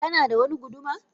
Kanada wani guduma